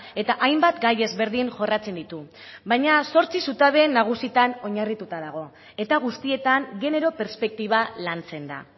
eta hainbat gai ezberdin jorratzen ditu baina zortzi zutabe nagusitan oinarrituta dago eta guztietan genero perspektiba lantzen da